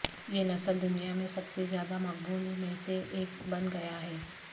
یہ نسل دنیا میں سب سے زیادہ مقبول میں سے ایک بن گیا ہے